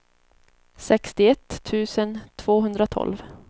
sextioett tusen tvåhundratolv